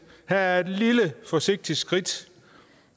her er et lille forsigtigt skridt